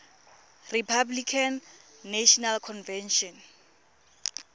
republican national convention